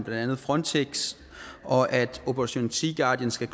andet frontex og at operation sea guardian skal